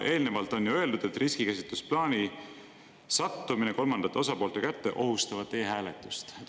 Eelnevalt on ju öeldud, et riskikäsitlusplaani sattumine kolmandate osapoolte kätte ohustab e-hääletust.